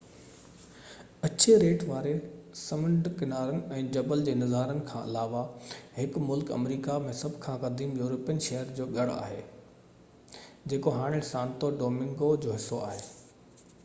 اڇي ريٽ واري سمنڊ ڪنارن ۽ جبل جي نظارن کان علاوه هي ملڪ آمريڪا ۾ سڀ کان قديم يورپين شهر جو ڳڙ آهي جيڪو هاڻي سانتو ڊومنگو جو حصو آهي